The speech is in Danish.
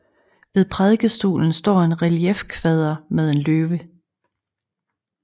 Ved prædikestolen står en reliefkvader med en løve